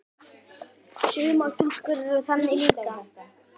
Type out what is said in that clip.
Sumar stúlkur eru þannig líka.